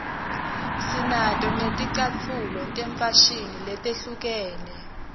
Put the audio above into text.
sinato netlcatfulo tefashini letehlukene